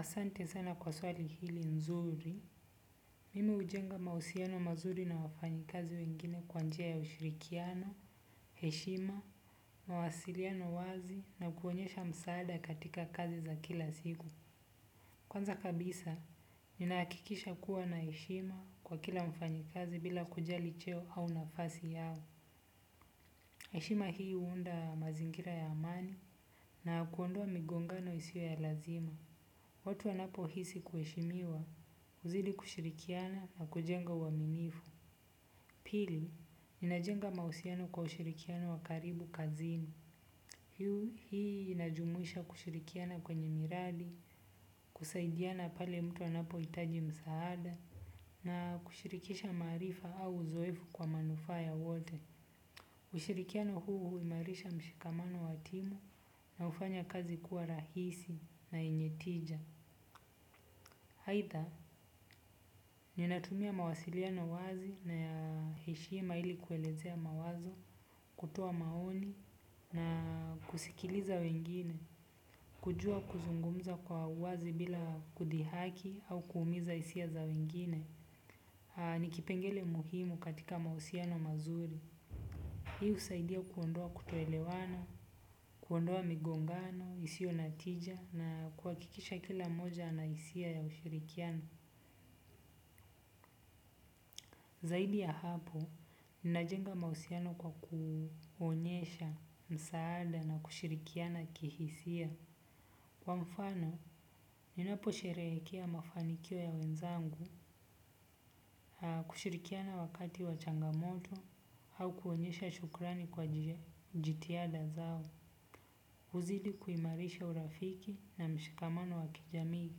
Asante sana kwa swali hili nzuri. Kwanza kabisa, ninahakikisha kuwa na heshima kwa kila mfanyikazi bila kujali cheo au nafasi yao. Heshima hii huunda mazingira ya amani na kuondoa migongano isiyo ya lazima. Watu wanapohisi kuheshimiwa, uzidi kushirikiana na kujenga uaminifu. Pili, ninajenga mahusiano kwa ushirikiano wa karibu kazini. Hii inajumuisha kushirikiana kwenye miradi, kusaidiana pale mtu anapohitaji msaada, na kushirikisha maarifa au uzoefu kwa manufaa ya wote. Ushirikiano huu huimarisha mshikamano wa timu na hufanya kazi kuwa rahisi na yenye tija. Haidha, ninatumia mawasiliano wazi na ya heshima ili kuelezea mawazo, kutoa maoni na kusikiliza wengine, kujua kuzungumza kwa uwazi bila kudhihaki au kuumiza hisia za wengine, ni kipengele muhimu katika mahusiano mazuri. Hii husaidia kuondoa kutoelewanwa, kuondoa migongano, hisio na tija na kuhakikisha kila mmoja ana hisia ya ushirikiano. Zaidi ya hapo, ninajenga mahusiano kwa kuonyesha msaada na kushirikiana kihisia. Kwa mfano, ninaposherehekea mafanikio ya wenzangu kushirikiana wakati wa changamoto au kuonyesha shukrani kwa jitihada zao. Huzidi kuimarisha urafiki na mshikamano wa kijamii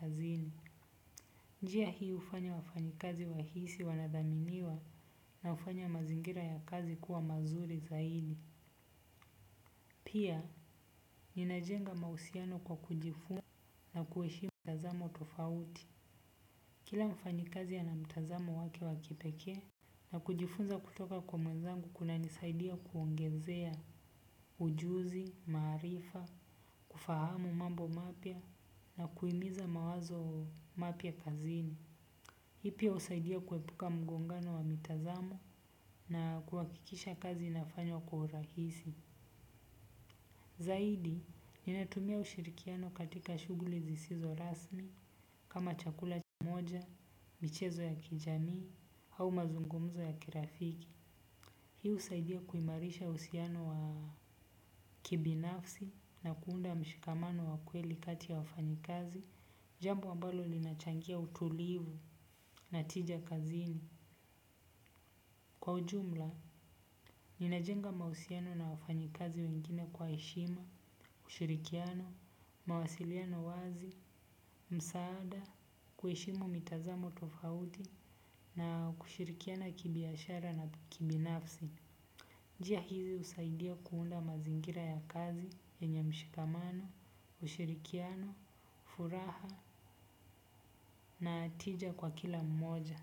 kazini. Njia hii hufanya wafanyikazi wahisi wanathaminiwa na hufanya mazingira ya kazi kuwa mazuri zaidi. Pia, ninajenga mahusiano kwa kujifunza na kuheshimu mtazamo tofauti. Kila mfanyikazi ana mtazamo wake wakipekee na kujifunza kutoka kwa mwenzangu kunanisaidia kuongezea ujuzi, maarifa, kufahamu mambo mapya na kuhimiza mawazo mapya kazini. Hii pia husaidia kuepuka mgongano wa mitazamo na kuhakikisha kazi inafanywa kwa urahisi. Zaidi, ninatumia ushirikiano katika shughuli zisizo rasmi kama chakula cha pamoja, michezo ya kijamii au mazungumzo ya kirafiki. Hii husaidia kuimarisha uhusiano wa kibinafsi na kuunda mshikamano wa kweli kati ya wafanyi kazi. Jambo ambalo linachangia utulivu na tija kazini. Kwa ujumla, ninajenga mahusiano na wafanyikazi wengine kwa heshima, ushirikiano, mawasiliano wazi, msaada, kuheshimu mitazamo tofauti na kushirikiana kibiashara na kibinafsi. Njia hizi husaidia kuunda mazingira ya kazi yenye. Mshikamano, ushirikiano, furaha na tija kwa kila mmoja.